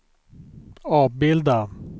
avbilda